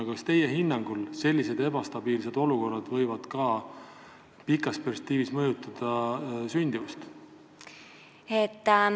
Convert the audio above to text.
Kas teie hinnangul võib selline ebastabiilne olukord pikas perspektiivis mõjutada sündimust?